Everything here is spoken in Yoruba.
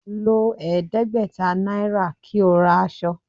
Lo ẹdẹgbẹta naira ki o ra asọ